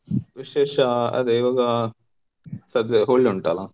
ವಿಶೇಷ ಅದೇ ಇವಾಗ ಸದ್ಯದಲ್ Holi ಉಂಟಲ್ಲ.